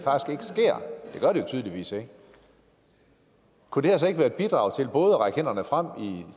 gør det jo tydeligvis ikke kunne det her så ikke være et bidrag til både at række hånden frem i